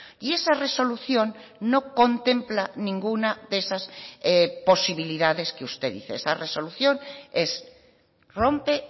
y esa resolución no contempla ninguna de esas posibilidades que usted dice esa resolución es rompe